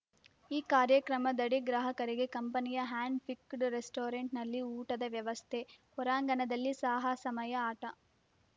ಈ ಕಾರ್ಯಕ್ರಮದಡಿ ಗ್ರಾಹಕರಿಗೆ ಕಂಪನಿಯ ಹ್ಯಾಂಡ್ ಪಿಕ್ಡ್ ರೆಸ್ಟೋರೆಂಟ್‌ನಲ್ಲಿ ಊಟದ ವ್ಯವಸ್ಥೆ ಹೊರಾಂಗಣದಲ್ಲಿ ಸಾಹಸಮಯ ಆಟ